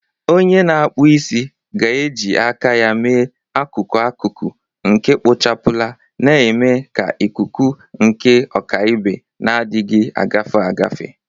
Onye na-akpụ isi ga-eji aka ya mee akụkụ akụkụ nke kpochapụla, na-eme ka ikuku nke ọkaibe na-adịghị agafe agafe